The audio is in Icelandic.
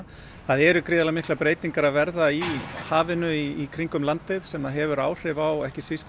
það eru gríðarlega miklar breytingar að verða í hafinu í kringum landið sem að hefur áhrif á ekki síst